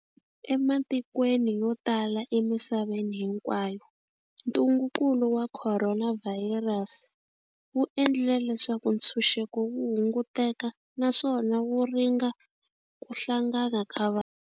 Ematikweni yo tala emisaveni hinkwayo, ntungukulu wa khoronavhayirasi wu endlile leswaku ntshuxeko wu hunguteka naswona wu ringa ku hlangana ka vanhu.